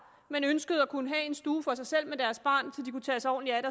men ønskede at kunne have en stue for sig selv med deres barn kunne tage sig ordentligt